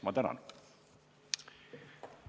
Ma tänan!